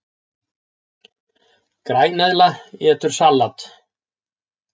Græneðla étur salat!